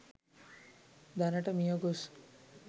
දැනට මියගොස්